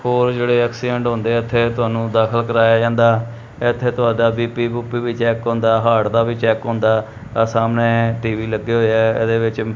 ਹੋਰ ਜੇਹੜੇ ਐਕਸੀਡੈਂਟ ਹੁੰਦੇ ਏੱਥੇ ਤੁਹਾਨੂੰ ਦਾਖਿਲ ਕਰਾਇਆ ਜਾਂਦਾ ਏੱਥੇ ਤੁਹਾਡਾ ਬੀ_ਪੀ ਬੂਪੀ ਵੀ ਚੈੱਕ ਹੁੰਦਾ ਹਾਰਟ ਦਾ ਵੀ ਚੈੱਕ ਹੁੰਦਾ ਆਹ ਸਾਹਮਣੇ ਟੀ_ਵੀ ਲੱਗੇ ਹੋਏ ਆ ਏਹਦੇ ਵਿੱਚ--